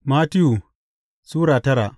Mattiyu Sura tara